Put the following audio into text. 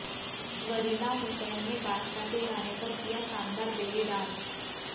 वरीना हुसैन ने बादशाह के गाने पर किया शानदार बेली डांस